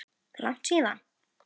Langt síðan?